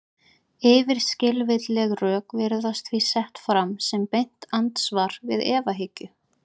Yfirskilvitleg rök virðast því sett fram sem beint andsvar við efahyggju.